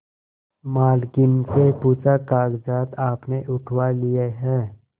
मालकिन से पूछाकागजात आपने उठवा लिए हैं